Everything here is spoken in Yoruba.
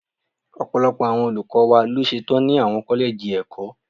Ọ̀pọ̀lọpọ̀ àwọn olùkọ́ wa ló ṣe tán ni àwọn kọ́lẹ́jì ẹ̀kọ́.